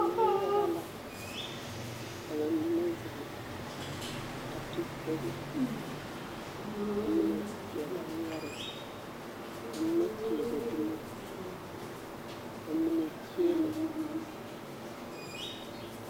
Neŋ-yaga la. Ka ba mine zeŋ, a ti kogro, ka mine teɛ ba noɔre, ka mine teɛ ba tumo, ka mine kyeele.